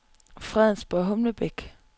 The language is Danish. Fredensborg-Humlebæk